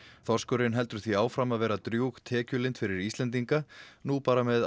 þorskurinn heldur því áfram að vera drjúg tekjulind fyrir Íslendinga nú bara með